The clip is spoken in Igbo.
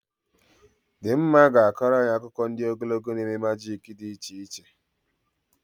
Dimma ga-akọrọ anyị akụkọ ndị ogologo na eme majik dị iche